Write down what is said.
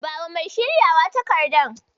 Bawa mai shiryawa takardar.